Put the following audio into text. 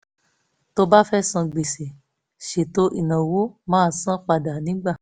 tó bá fẹ́ san gbèsè ṣètò ináwó máa san padà nígbà